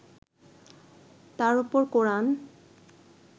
তার ওপর কোরআন